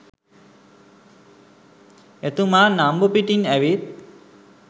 එතුමා නම්බු පිටින් ඇවිත්